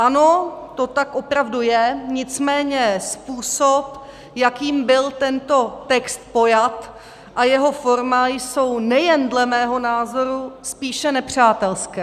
Ano, to tak opravdu je, nicméně způsob, jakým byl tento text pojat, a jeho forma jsou nejen dle mého názoru spíše nepřátelské.